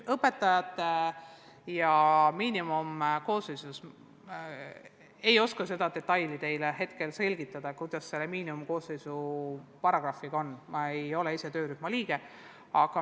Õpetajaskonna miinimumkoosseisu ei oska ma praegu detailselt selgitada, ma ei ole ise töörühma liige.